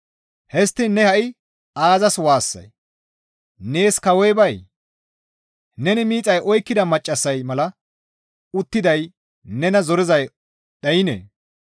Histtiin ne ha7i aazas waassay? Nees kawoy bayee? Neni miixay oykkida maccassay mala un7ettiday nena zorizay dhaynee?